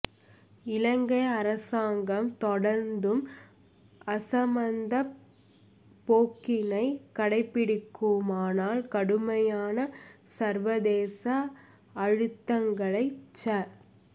இலங்கை அரசாங்கம் தொடர்ந்தும் அசமந்தப் போக்கினைக் கடைப்பிடிக்குமானால் கடுமையான சர்வதேச அழுத்தங்களைச் ச